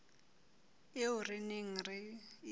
eo re neng re e